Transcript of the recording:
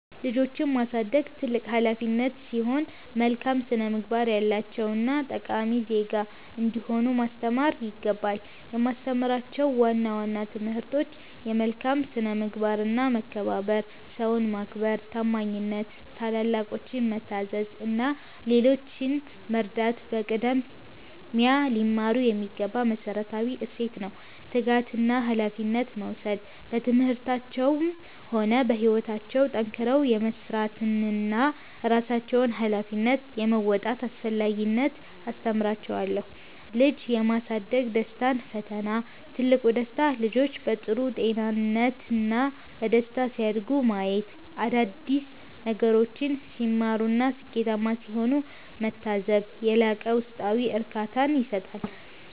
ልጆችን ማሳደግ ትልቅ ኃላፊነት ሲሆን፣ መልካም ስነ-ምግባር ያላቸውና ጠቃሚ ዜጋ እንዲሆኑ ማስተማር ይገባል። የማስተምራቸው ዋና ዋና ትምህርቶች፦ መልካም ስነ-ምግባርና መከባበር፦ ሰውን ማክበር፣ ታማኝነት፣ ታላላቆችን መታዘዝ እና ሌሎችን መርዳት በቅድሚያ ሊማሩት የሚገባ መሠረታዊ እሴት ነው። ትጋትና ኃላፊነት መውሰድ፦ በትምህርታቸውም ሆነ በሕይወታቸው ጠንክረው የመሥራትንና የራሳቸውን ኃላፊነት የመወጣትን አስፈላጊነት አስተምራቸዋለሁ። ልጅ የማሳደግ ደስታና ፈተና፦ ትልቁ ደስታ፦ ልጆች በጥሩ ጤንነትና በደስታ ሲያድጉ ማየት፣ አዳዲስ ነገሮችን ሲማሩና ስኬታማ ሲሆኑ መታዘብ የላቀ ውስጣዊ እርካታን ይሰጣል።